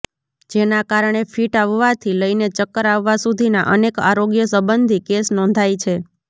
જેના કારણે ફીટ આવવાથી લઈને ચક્કર આવવા સુધીના અનેક આરોગ્ય સંબંધી કેસ નોંધાય છે